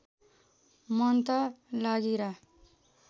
मन त लागिरा